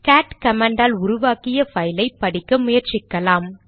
gate command ஆல் உருவாக்கிய பைலை படிக்க முயற்சிக்கலாம்